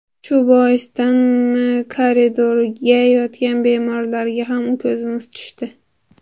Shu boisdanmi, koridorlarda yotgan bemorlarga ham ko‘zimiz tushdi.